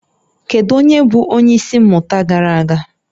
Kedu onye bụ onye isi mmụta gara aga?